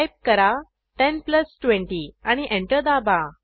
type करा 10 plus 20 आणि enter दाबा